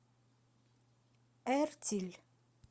эртиль